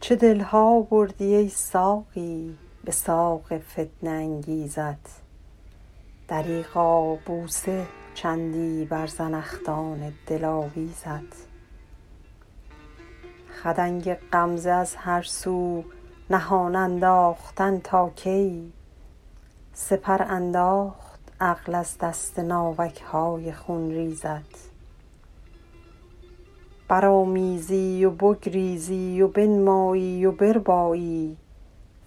چه دل ها بردی ای ساقی به ساق فتنه انگیزت دریغا بوسه چندی بر زنخدان دلاویزت خدنگ غمزه از هر سو نهان انداختن تا کی سپر انداخت عقل از دست ناوک های خونریزت برآمیزی و بگریزی و بنمایی و بربایی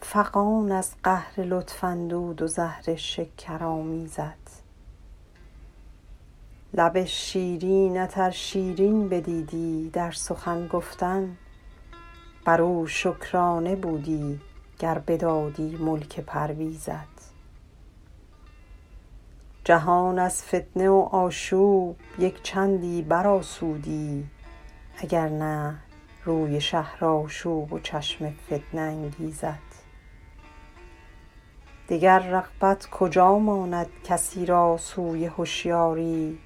فغان از قهر لطف اندود و زهر شکرآمیزت لب شیرینت ار شیرین بدیدی در سخن گفتن بر او شکرانه بودی گر بدادی ملک پرویزت جهان از فتنه و آشوب یک چندی برآسودی اگر نه روی شهرآشوب و چشم فتنه انگیزت دگر رغبت کجا ماند کسی را سوی هشیاری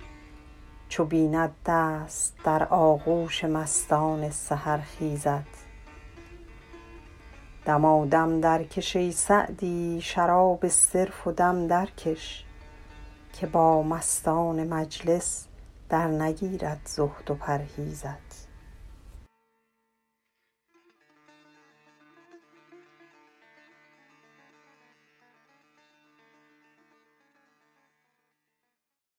چو بیند دست در آغوش مستان سحرخیزت دمادم درکش ای سعدی شراب صرف و دم درکش که با مستان مجلس درنگیرد زهد و پرهیزت